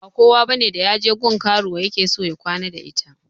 Ba kowa bane da yaje gun karuwa yake so ya kwana da ita